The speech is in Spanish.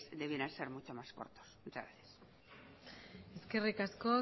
deberían ser mucho más cortos muchas gracias eskerrik asko